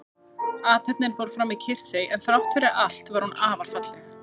Athöfnin fór fram í kyrrþey en þrátt fyrir allt var hún afar falleg.